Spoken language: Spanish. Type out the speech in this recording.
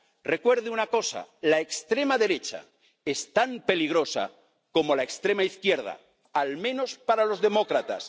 Recuerde una cosa la extrema derecha es tan peligrosa como la extrema izquierda, al menos para los demócratas.